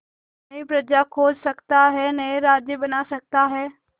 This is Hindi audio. नई प्रजा खोज सकता है नए राज्य बना सकता है